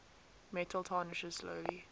metal tarnishes slowly